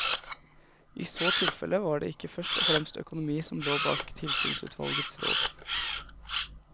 I så tilfelle var det ikke først og fremst økonomi som lå bak tilsynsutvalgets råd.